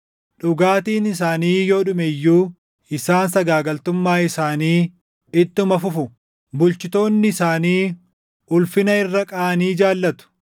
Dhugaatiin isaanii yoo dhume iyyuu isaan sagaagaltummaa isaanii ittuma fufu; bulchitoonni isaanii ulfina irra qaanii jaallatu.